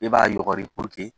E b'a yɔgɔri